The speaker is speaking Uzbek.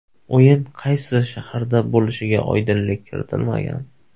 O‘yin qaysi shaharda bo‘lishiga oydinlik kiritilmagan.